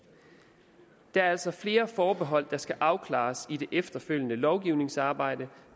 der er altså flere forbehold der skal afklares i det efterfølgende lovgivningsarbejde